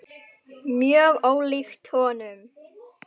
Mjög ólíkt honum.